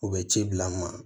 U bɛ ci bila n ma